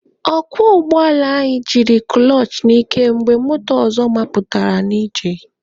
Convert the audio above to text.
Ọkwọ ụgbọala anyị jiri kụlọchị n'ike mgbe moto ọzọ mapụtara n'ije.